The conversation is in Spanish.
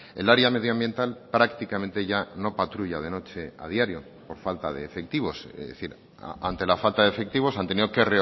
el área medioambiental prácticamente ya no patrulla de noche a diario por falta de efectivos es decir ante la falta de efectivos han tenido que